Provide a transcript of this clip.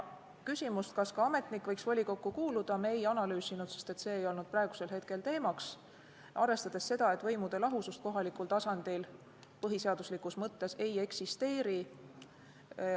Küsimust, kas ka ametnik võiks volikokku kuuluda, me ei analüüsinud, sest see ei olnud hetkel teemaks, arvestades seda, et võimude lahusust kohalikul tasandil põhiseaduslikus mõttes ei eksisteeri.